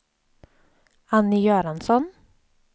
Annie Göransson